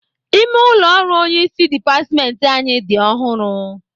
Ime ụlọ ọrụ onyeisi dịpatmentị anyị dị ọhụrụ